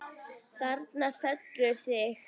Þarna felurðu þig!